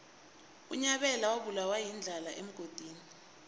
unyabela wabulawa yindlala emgodini